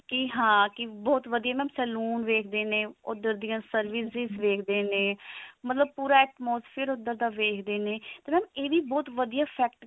ਕੀ ਹਾਂ ਬਹੁਤ ਵਧੀਆ mam salon ਵੇਖਦੇ ਨੇ ਉਧਰ ਦੀਆਂ services ਦ੍ਖਦੇ ਨੇ ਮਤਲਬ ਪੂਰਾ atmosphere ਉਧਰ ਦਾ ਵੇਖਦੇ ਨੇ ਤੇ ਇਹ ਵੀ mam ਬਹੁਤ ਵਧੀਆ fact